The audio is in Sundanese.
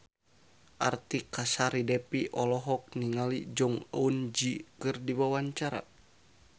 Artika Sari Devi olohok ningali Jong Eun Ji keur diwawancara